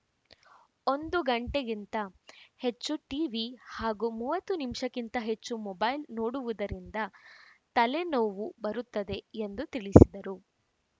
ಒಂದು ಗಂಟೆಗಿಂತ ಹೆಚ್ಚು ಟಿವಿ ಹಾಗೂ ಮೂವತ್ತು ನಿಮಿಷಕ್ಕಿಂತ ಹೆಚ್ಚು ಮೊಬೈಲ್‌ ನೋಡುವುದರಿಂದ ತಲೆನೋವು ಬರುತ್ತದೆ ಎಂದು ತಿಳಿಸಿದರು